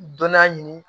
Dɔnna ɲini